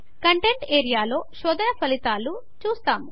contents ఏరియాలో శోధన ఫలితాలను చూస్తాము